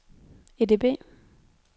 EDB